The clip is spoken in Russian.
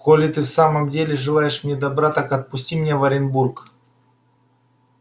коли ты в самом деле желаешь мне добра так отпусти меня в оренбург